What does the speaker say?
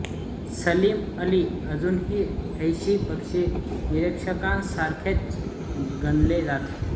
सलीम अली अजूनही हौशी पक्षी निरीक्षकांसारखेच गणले जात